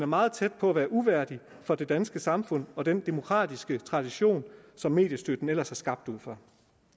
meget tæt på at være uværdig for det danske samfund og den demokratiske tradition som mediestøtten ellers er skabt ud fra